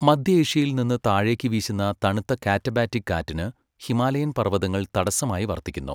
മദ്ധ്യ ഏഷ്യയിൽ നിന്ന് താഴേക്കു വീശുന്ന തണുത്ത കാറ്റബാറ്റിക് കാറ്റിന് ഹിമാലയൻ പർവതങ്ങൾ തടസ്സമായി വർത്തിക്കുന്നു.